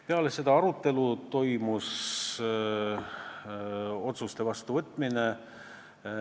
Peale seda arutelu toimus otsuste vastuvõtmine.